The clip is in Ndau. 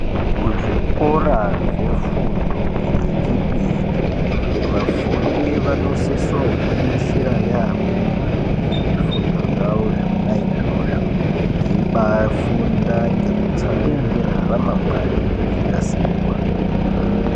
Kuzvikora zvefundo yechipiri, vafundi vanosiso gwinyisira yamho, ngezvifundo zvavo zvona izvozvo, veyibayi funda ngekutsamwirira ramangwani reyinasirwa.